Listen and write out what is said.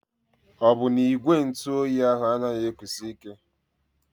Ọ bụ na ígwè ntụ óyi ahụ anaghị ekusi ike?